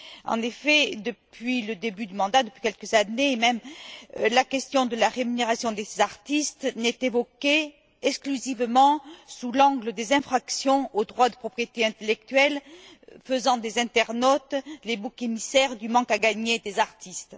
En effet, depuis le début du mandat, depuis quelques années même, la question de la rémunération des artistes est évoquée exclusivement sous l'angle des infractions aux droits de propriété intellectuelle, faisant des internautes les boucs émissaires du manque à gagner des artistes.